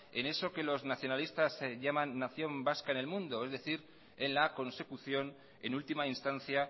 en eso que los nacionalistas llaman nación vasca en el mundo es decir en la consecución en última instancia